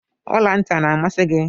Ọla ntị ọ na-amasi gị?